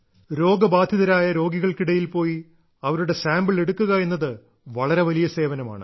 രോഗബാധിതരായ രോഗികൾക്കിടയിൽ പോയി അവരുടെ സാമ്പിൾ എടുക്കുക എന്നത് വളരെ വലിയ സേവനമാണ്